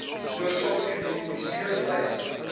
oorsake identifiseer lys